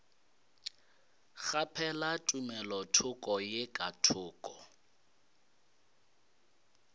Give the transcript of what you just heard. kgaphela tumelothoko ye ka thoko